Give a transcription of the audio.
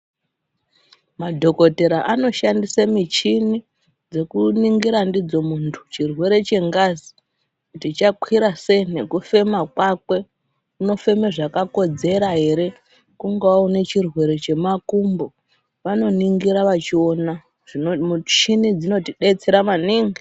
Madhokodheya anoshandisa michini dzekuningira ndidzona muntu chirwere chengazi kuti chakwira sei nekufema kwake anofema zvakakodzera here kungava chirwere chemakumbo vanoningira vachiona michini dzotidetsera maningi.